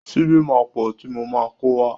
Ṣíbí máa pọ̀ ti mo máa kówá.